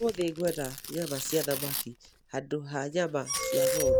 Ũmũthĩ ngwenda nyama cia thamaki handũ ha nyama cia ng'ombe.